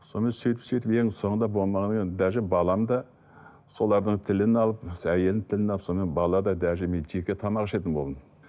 сонымен сөйтіп сөйтіп енді соңында болмағаннан кейін даже балам да солардың тілін алып әйелінің тілін алып сонымен бала да даже мен жеке тамақ ішетін болдым